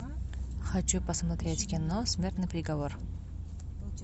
хочу посмотреть кино смертный приговор